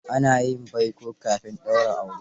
Ana yin baiko kafin a daura aure.